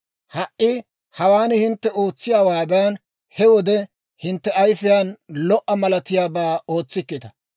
«Ha"i hawaan hintte ootsiyaawaadan, he wode hintte ayfiyaan lo"a malatiyaabaa ootsikkita.